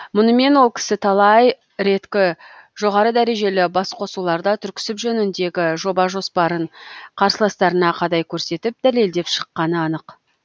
мұнымен ол кісі талай реткі жоғары дәрежелі басқосуларда түрксіб жөніндегі жоба жоспарын қарсыластарына қадай көрсетіп дәлелдеп шыққаны анық